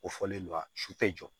O fɔlen don wa su tɛ jɔ